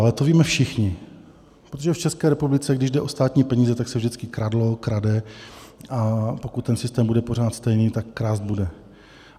Ale to víme všichni, protože v České republice, když jde o státní peníze, tak se vždycky kradlo, krade, a pokud ten systém bude pořád stejný, tak krást bude.